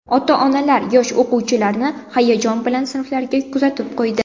Ota-onalar yosh o‘quvchilarni hayajon bilan sinflariga kuzatib qo‘ydi.